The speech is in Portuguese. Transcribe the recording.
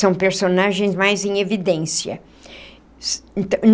São personagens mais em evidência.